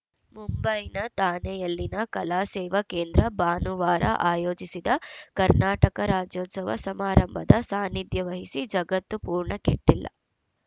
ಮುಂಬೈನ ಥಾಣೆಯಲ್ಲಿನ ಕಲಾಸೇವಾ ಕೇಂದ್ರ ಭಾನುವಾರ ಆಯೋಜಿಸಿದ್ದ ಕರ್ನಾಟಕ ರಾಜ್ಯೋತ್ಸವ ಸಮಾರಂಭದ ಸಾನ್ನಿಧ್ಯವಹಿಸಿ ಜಗತ್ತು ಪೂರ್ಣ ಕೆಟ್ಟಿಲ್ಲ